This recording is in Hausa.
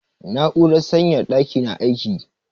Na'urar sanyaya ɗaki na aiki.